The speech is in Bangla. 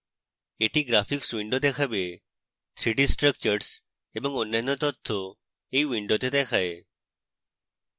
এটি graphics window দেখাবে 3d structures এবং অন্যান্য তথ্য এই window দেখায়